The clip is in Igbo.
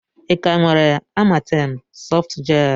Ị ka nwere Amatem softgel?